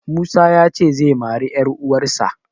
Musa ya ce zai mari 'yaruwarsa.